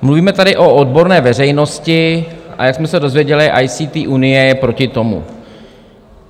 Mluvíme tady o odborné veřejnosti, a jak jsme se dozvěděli, ICT Unie je proti tomu.